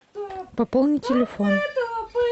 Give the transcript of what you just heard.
пополни телефон